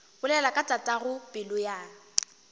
bolela ka tatago pelo ya